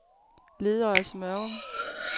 Ledøje-Smørum